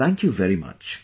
Thank you very much